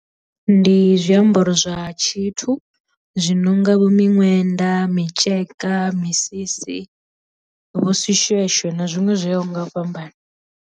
Ndi zwiambaro zwa tshithu zwi nonga vho miṅwenda, mitsheka, misisi vho tshishweshwe na zwiṅwe zwo yaho nga u fhambanana.